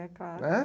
É, claro. Né